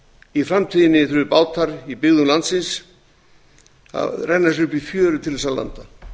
í framtíðinni þurfi bátar í byggðum landsins að renna sér upp í fjöru til að landa